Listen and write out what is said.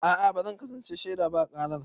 A'a ba zan kasance shaida ba a karar.